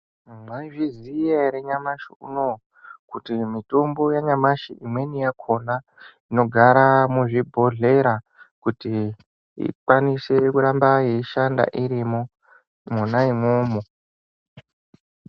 Mwayiziziya here nyamashe unowu, kuti mitombo yanyamashe , imweni yakhona inogara muzvibhodhlera kuti ikwanise kuramba yeyishanda irimo, mona imomo.